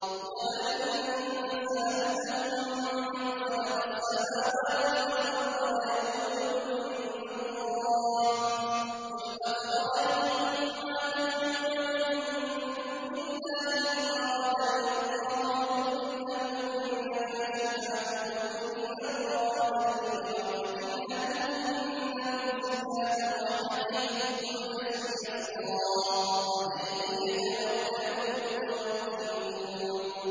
وَلَئِن سَأَلْتَهُم مَّنْ خَلَقَ السَّمَاوَاتِ وَالْأَرْضَ لَيَقُولُنَّ اللَّهُ ۚ قُلْ أَفَرَأَيْتُم مَّا تَدْعُونَ مِن دُونِ اللَّهِ إِنْ أَرَادَنِيَ اللَّهُ بِضُرٍّ هَلْ هُنَّ كَاشِفَاتُ ضُرِّهِ أَوْ أَرَادَنِي بِرَحْمَةٍ هَلْ هُنَّ مُمْسِكَاتُ رَحْمَتِهِ ۚ قُلْ حَسْبِيَ اللَّهُ ۖ عَلَيْهِ يَتَوَكَّلُ الْمُتَوَكِّلُونَ